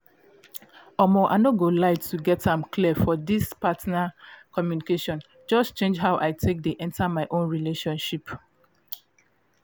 um i no go lie to get am clear for this partner communication just change how i take dey enter my own relationships